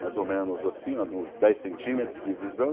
mais ou menos assim ó, de uns dez centímetros.